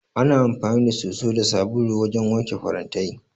Ana amfani da soso da sabulu wajen wanke farantai.